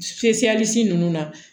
ninnu na